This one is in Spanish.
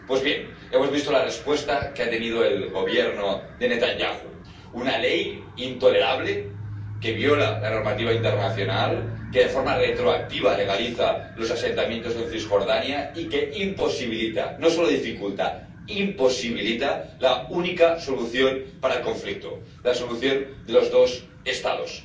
Pues bien, hemos visto la respuesta que ha tenido el Gobierno de Netanyahu una ley intolerable que viola la normativa internacional, que de forma retroactiva legaliza los asentamientos en Cisjordania y que imposibilita —no solo dificulta, imposibilita— la única solución para el conflicto la solución de los dos Estados.